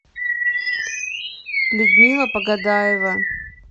людмила погодаева